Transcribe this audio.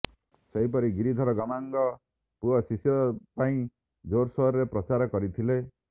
ସେହିପରି ଗିରିଧର ଗମାଙ୍ଗ ପୁଅ ଶିଶିର ପାଇଁ ଜୋରସୋରରେ ପ୍ରଚାର କରିଥିଲେ